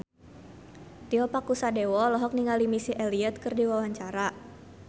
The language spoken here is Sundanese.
Tio Pakusadewo olohok ningali Missy Elliott keur diwawancara